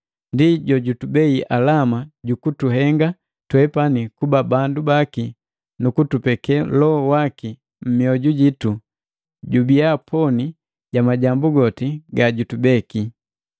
Ndi jojutubei alama jukutuhenga twepani kuba bandu baki nukutupeke Loho waki mmioju jitu jubiya poni ja majambu goti gajubeki.